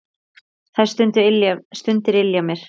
Þær stundir ylja mér.